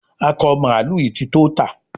Akọ mààlúù yí tí tó tá